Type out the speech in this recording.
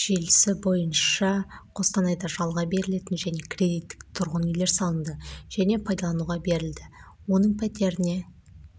желісі бойынша қостанайда жалға берілетін және кредиттік тұрғын үйлер салынды және пайдалануға берілді оның пәтеріне